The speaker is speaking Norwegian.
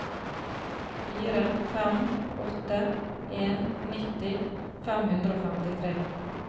fire fem åtte en nitti fem hundre og femtitre